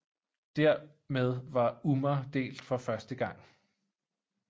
Dermed var ummah delt for første gang